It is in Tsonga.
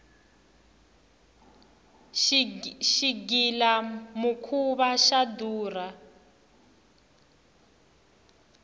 xigila mukhuva xa durha